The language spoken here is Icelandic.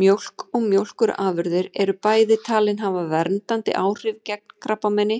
Mjólk og mjólkurafurðir eru bæði talin hafa verndandi áhrif gegn krabbameini